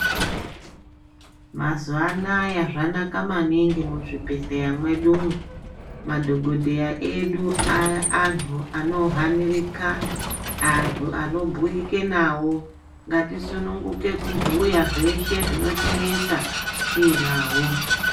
Mazuva anawa zvanaka maningi kuti Muzvibhedhlera medu mwo madhokodheya edu antu anohanirika antu anobhuyija nawo ngatisumumguka kubhuya zveshe zvikunetsa tinawo.